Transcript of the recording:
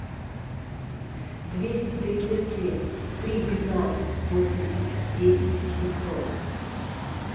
двести тридцать семь три пятнадцать восемьдесят десять семьсот